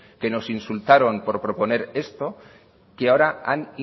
que nos insultaban por poner esto que ahora han